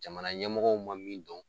Jamana ɲɛmɔgɔw ma min dɔn